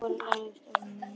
Og lagðist í rúmið.